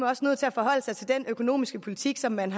også nødt til at forholde sig til den økonomiske politik som man